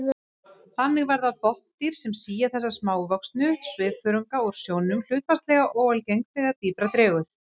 Þannig verða botndýr sem sía þessa smávöxnu svifþörunga úr sjónum hlutfallslega óalgeng þegar dýpra dregur.